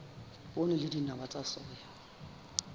poone le dinawa tsa soya